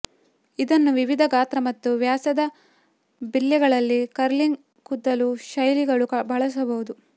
ಇದನ್ನು ವಿವಿಧ ಗಾತ್ರ ಮತ್ತು ವ್ಯಾಸದ ಬಿಲ್ಲೆಗಳನ್ನು ಕರ್ಲಿಂಗ್ ಕೂದಲು ಶೈಲಿಗಳು ಬಳಸಬಹುದು